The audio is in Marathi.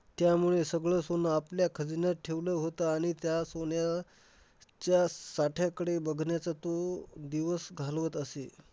त्यामुळे सगळं सोनं आपल्या खजिन्यात ठेवलं होतं आणि त्या सोन्या अह च्या साठ्याकडे बघण्याचं तो दिवस घालवत असे.